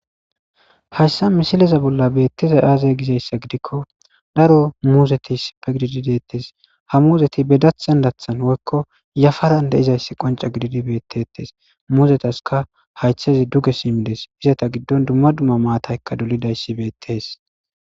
Hayssa misileza bolla beetizay aaze gizayssa gidikko daro muuzeti issippe gididi deetees; ha muuzeti be daththan daththan woykko yafaran de'izayssi qonce gididi beetetees; muuzetaska hayththezi duge simmides; izeta giddon dumma dumma maatayka dolidyssi beetees.